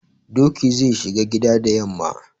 Doki zai shiga gida da yamma.